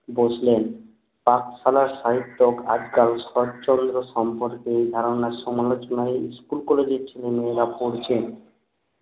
বসলেন পাঠশালার সাহিত্যক আজকাল শরৎচন্দ্র সম্পর্কে ধারণার সমালোচনায় ইস্কুল কলেজ এর ছেলে মেয়েরা পরছেন